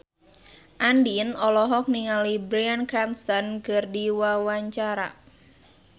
Andien olohok ningali Bryan Cranston keur diwawancara